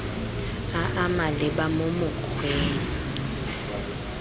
a a maleba mo mokgweng